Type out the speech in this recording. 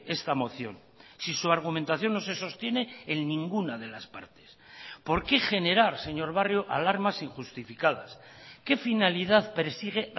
esta moción si su argumentación no se sostiene en ninguna de las partes por qué generar señor barrio alarmas injustificadas qué finalidad persigue